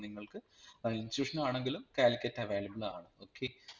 നിങ്ങൾക് ഏർ institution ആണെങ്കിലും കാലിക്കറ്റ് available ആണ് okay